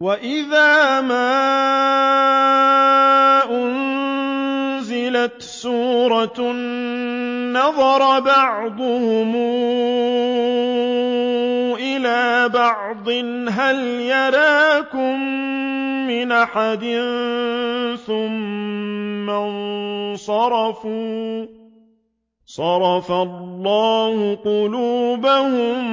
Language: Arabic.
وَإِذَا مَا أُنزِلَتْ سُورَةٌ نَّظَرَ بَعْضُهُمْ إِلَىٰ بَعْضٍ هَلْ يَرَاكُم مِّنْ أَحَدٍ ثُمَّ انصَرَفُوا ۚ صَرَفَ اللَّهُ قُلُوبَهُم